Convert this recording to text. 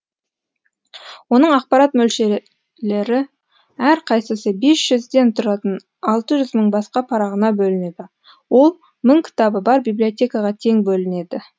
оның ақпарат мөлшері әрқайсысы бес жүз сөзден тұратын алты жүз мың басқа парағына бөлінеді ол мың кітабы бар библиотекаға тең бөледі